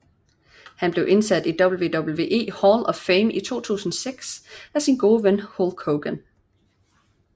Han blev indsat i WWE Hall of Fame i 2006 af sin gode ven Hulk Hogan